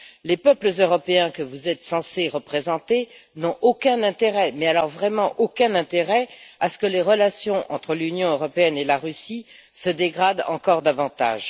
Les peuples européens, que vous êtes censés représenter, n'ont aucun intérêt, mais alors vraiment aucun, à ce que les relations entre l'Union européenne et la Russie se dégradent encore davantage.